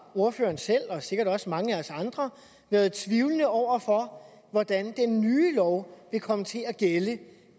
ordføreren selv og sikkert også mange af os andre været tvivlende over for hvordan den nye lov vil komme til at gælde